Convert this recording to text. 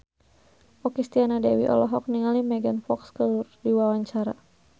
Okky Setiana Dewi olohok ningali Megan Fox keur diwawancara